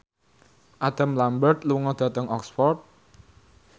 Adam Lambert lunga dhateng Oxford